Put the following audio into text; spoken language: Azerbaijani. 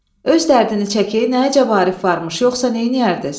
Öz dərdini çək, nə əcəb Arif varmış, yoxsa neyniyərdiz?